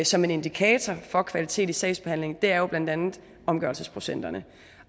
som en indikator for kvalitet i sagsbehandlingen er jo blandt andet omgørelsesprocenterne